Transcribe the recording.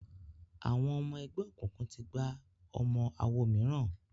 Àwọn ọmọ ẹgbẹ́ òkùnkùn tí gbà ọmọ awo mìíràn